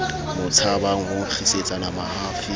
mo tshabang ho nkgisetsana mahafi